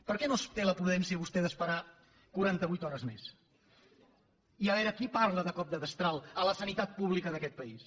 per què no té la prudència vostè d’esperar quaranta vuit hores més i a veure qui parla de cop de destral a la sanitat pública d’aquest país